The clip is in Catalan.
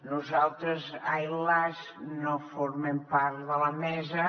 nosaltres ai las no formem part de la mesa